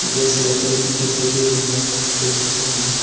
Gas lighter भी दिखाई दे रहा है इस तस्वीर में हमें।